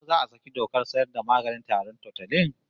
Ko za a saki dokar sayar da maganin tarin Tutolin?